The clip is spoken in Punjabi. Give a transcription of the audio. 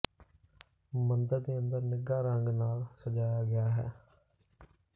ਮੰਦਰ ਦੇ ਅੰਦਰ ਨਿੱਘਾ ਰੰਗ ਨਾਲ ਸਜਾਇਆ ਗਿਆ ਹੈ